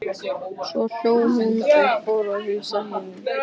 Svo hló hún og fór að heilsa hinum.